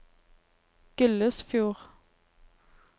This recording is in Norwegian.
Gullesfjord